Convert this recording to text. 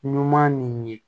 Ɲuman nin ye